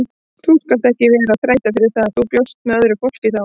Þú skalt ekkert vera að þræta fyrir það, þú bjóst með öðru fólki þá!